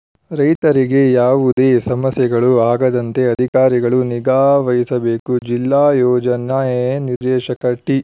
ರೈತರಿಗೆ ಯಾವುದೇ ಸಮಸ್ಯೆಗಳು ಆಗದಂತೆ ಅಧಿಕಾರಿಗಳು ನಿಗಾವಹಿಸಬೇಕು ಜಿಲ್ಲಾ ಯೋಜನೆ ನಿರ್ದೇಶಕ ಟಿ